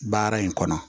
Baara in kɔnɔ